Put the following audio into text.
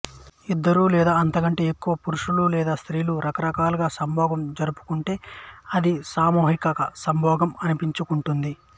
ఇద్దరు లేదా అంతకంటే ఎక్కువ పురుషులు లేదా స్త్రీలు రకరకాలుగా సంభోగం జరుపుకుంటే అది సామూహిక సంభోగం అనిపించుకుంటుంది